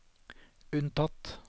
unntatt